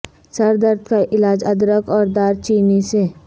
سر درد کا علاج ادرک اور دار چینی سے